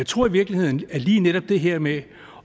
tror i virkeligheden at i lige netop det her med